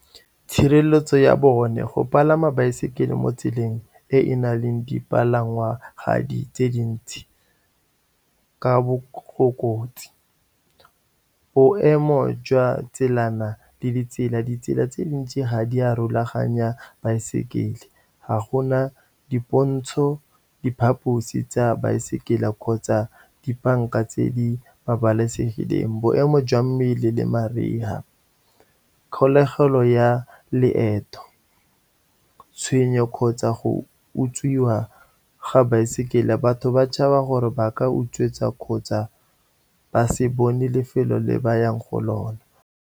Tshireletso ya bone, go palama baesekele mo tseleng e na leng dipalangwa gadi tse dintsi, ka bokotsi, boemo jwa tselana le ditsela. Ditsela tse dintsi ga di a rulaganya baesekele, ga gona dipontsho, diphaposi tsa baesekele kgotsa dibanka tse di babalesegileng. Boemo jwa mmele le mariga, kgolegelo ya leeto, tshwenyo kgotsa go utswiwa ga baesekele. Batho ba tšhaba gore ba ka utswetswa kgotsa ba se bone lefelo le ba yang go lona.